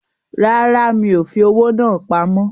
Rárá, mi ò fi owó náà pamọ́